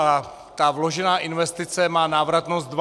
A ta vložená investice má návratnost 12 let.